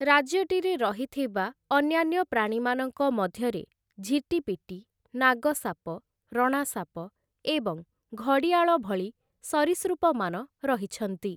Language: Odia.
ରାଜ୍ୟଟିରେ ରହିଥିବା ଅନ୍ୟାନ୍ୟ ପ୍ରାଣୀମାନଙ୍କ ମଧ୍ୟରେ ଝିଟିପିଟି, ନାଗସାପ, ରଣାସାପ ଏବଂ ଘଡ଼ିଆଳ ଭଳି ସରୀସୃପମାନ ରହିଛନ୍ତି ।